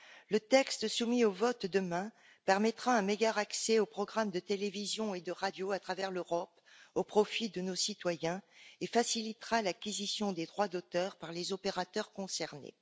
Le texte soumis au vote demain permettra un meilleur accès aux programmes de télévision et de radio à travers l'Europe, au profit de nos citoyens, et facilitera l'acquisition des droits d'auteur par les opérateurs concernés.